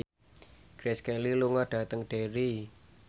Grace Kelly lunga dhateng Derry